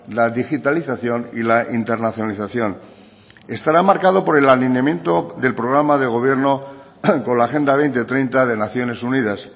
la digitalización y la internacionalización estará marcado por el alineamiento del programa de gobierno con la agenda dos mil treinta de naciones unidas